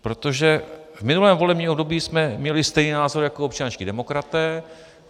Protože v minulém volebním období jsme měli stejný názor jako občanští demokraté.